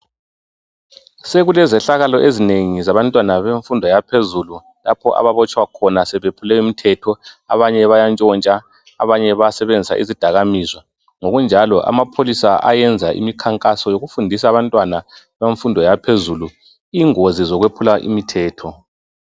Sekulezehlakalo ezinengi zabantwana bemfundo yaphezulu lapha ababotshwa khona sebeyephule umthetho abanye bayantshontsha abanye bayasebenzisa izidakamizwa ngokunjalo amapholisa ayenza imikhankaso yokufundisa abantwana bemfundo yaphezulu ingozi zokwephula umthetho.